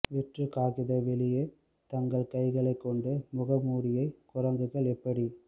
வெற்று காகித வெளியே தங்கள் கைகளை கொண்ட முகமூடியை குரங்குகள் எப்படி